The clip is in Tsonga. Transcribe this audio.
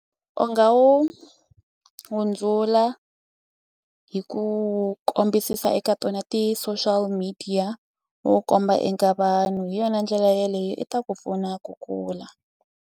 U nga wu hundzula hi ku kombisisa eka tona ti-social media u wu komba eka vanhu hi yona ndlela yeleyo i ta ku pfuna ku kula.